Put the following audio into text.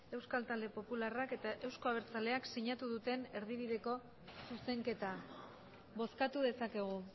euskal talde popularrak eta euzko abertzaleak sinatu duten erdibideko zuzenketa bozkatu dezakegu